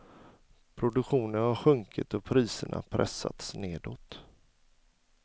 Produktionen har sjunkit och priserna pressats nedåt.